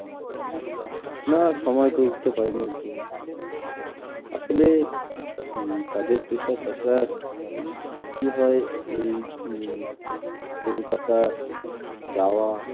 না সময় করে উঠতে পারিনি একদমই আসলে উম কাজের pressure তাছাড়া কি হয় এই উম কলকাতা যাওয়া